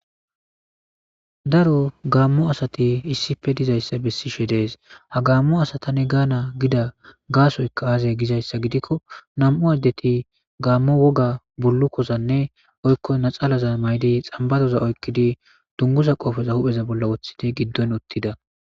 Daro gaammo asati issippe dizayssa besishe dees ha gaammo asata gaana gidda gassoykka azee gizayssa gidikko nam'u addeti gaammo woogga bullukozanne woykko naaxalaza mayidii xambbaroza oykidii dunguza qoopeza huphphe bolla woththidii giddon uuttida